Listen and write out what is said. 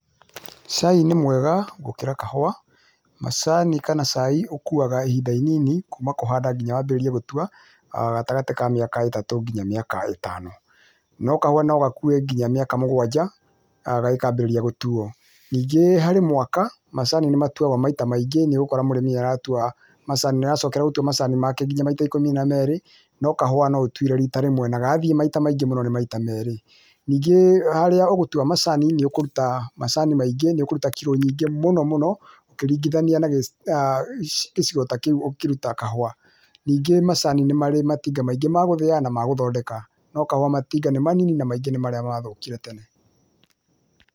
Cai nĩ mwega gũkĩra kahũa, macani kana caai ũkuaga ihinda inini kuma kũhanda nginya wambĩrĩrie gũtua, gatagatĩ ka mĩaka ĩtatũ nginya mĩaka ĩtano. No kahũa no gakue nginya mĩaka mũgwanja kangĩkambĩrĩria gũtuo. Ningĩ harĩ mwaka, macani nĩ matuagwo maita maingĩ, nĩũgũkora mũrĩmi aratua macani make, nĩaracokera gũtua macani make nginya maita ikũmi na merĩ no kahũa no ũtuire rita rĩmwe na gathiĩ maita maingĩ nĩ maita merĩ. Ningĩ harĩa ũgũtua macani nĩũkuruta macani maingĩ, nĩũkũruta kiro nyingĩ mũno mũno, ũkĩringithania na gĩcigo ta kĩu ũkĩruta kahũa. Ningĩ macani nĩ marĩ matinga maingĩ ma gũthĩa na ma gũtondeka, no kahũa matinga nĩ manini, na maingĩ nĩ marĩa mathũkire tene.